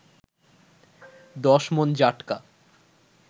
১০ মন জাটকা